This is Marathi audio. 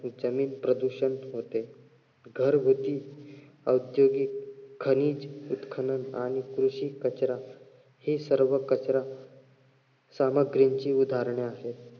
जमीन प्रदूषण होते. घरगुती औद्योगिक खनिज उत्खनन आणि कृषी कचरा हि सर्व कचरा सामग्रींची उदाहरणे आहेत.